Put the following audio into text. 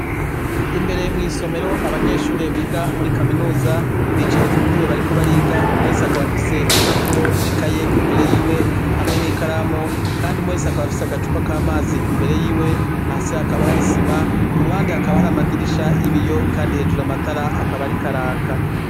Imbere mw'isomero abanyeshure biga muri kaminuza bicaye ku ntebe bariko bariga umwese akaba afise impapuro n'ikaye imbere yiwe hamwe n'ikaramu, kandi umwe wese akaba afise agacupa k'amazi imbere yiwe, hasi hakaba hari isima, ku ruhande hakaba hari amadirisha y'ibiyo, kandi hejuru amatara akaba ariko araka.